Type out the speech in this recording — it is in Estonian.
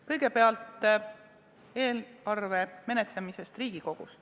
Kõigepealt eelarve menetlemisest Riigikogus.